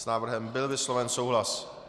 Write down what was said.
S návrhem byl vysloven souhlas.